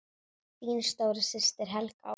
Þín stóra systir, Helga Ósk.